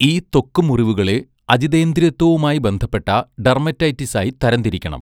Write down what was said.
ഈ ത്വക്ക് മുറിവുകളെ അജിതേന്ദ്രിയത്വവുമായി ബന്ധപ്പെട്ട ഡെർമറ്റൈറ്റിസായി തരംതിരിക്കണം.